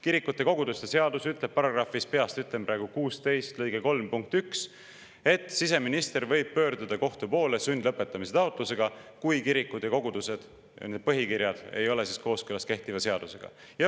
Kirikute ja koguduste seadus ütleb, peast ütlen praegu, § 16 lõike 3 punktis 1, et siseminister võib pöörduda kohtu poole sundlõpetamise taotlusega, kui kiriku ja koguduse põhikiri ei ole kooskõlas kehtiva seadusega.